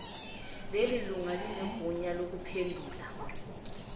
lelilunga linegunya lokuphendula